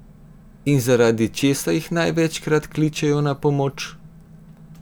In zaradi česa jih največkrat kličejo na pomoč?